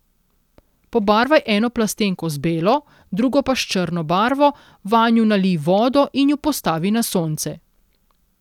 Pobarvaj eno plastenko z belo, drugo pa s črno barvo, vanju nalij vodo in ju postavi na sonce.